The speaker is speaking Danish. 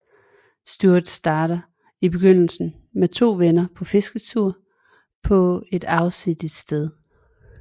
Stuart tager i begyndelsen med to venner på fisketur på et afsides sted